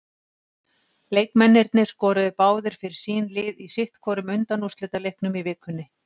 Leikmennirnir tveir skoruðu báðir fyrir sín lið í sitthvorum undanúrslitaleiknum í vikunni.